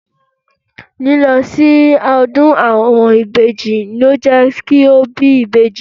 Lílọ sí ọdún àwọn ìbejì le jẹ́ kí o bí ìbejì.